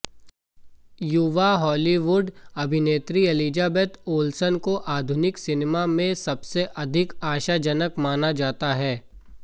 युवा हॉलीवुड अभिनेत्री Elizabeth Olsen को आधुनिक सिनेमा में सबसे अधिक आशाजनक माना जाता है